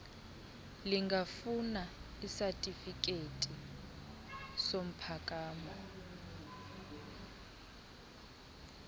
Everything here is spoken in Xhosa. lingafuna isatifikethi somphakamo